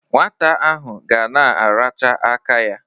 Nwata ahụ ga na-aracha aka ya.